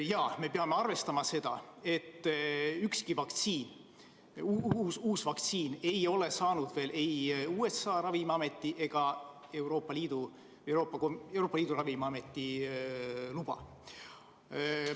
Aga me peame arvestama seda, et ükski uus vaktsiin ei ole saanud veel ei USA Toidu- ja Ravimiameti ega Euroopa Ravimiameti luba.